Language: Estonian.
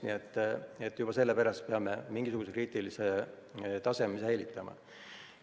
Nii et juba selle pärast peame mingisuguse kriitilise taseme säilitama.